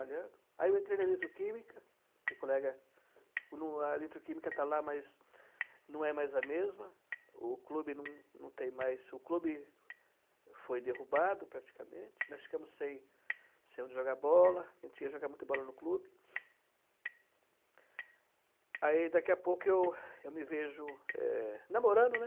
aí eu entrei na eletroquímica, a eletroquímica está lá, mas não é mais a mesma, o clube não tem mais, foi derrubado praticamente, nós ficamos sem onde jogar bola, a gente ia jogar muita bola no clube, aí daqui a pouco eu me vejo namorando, né,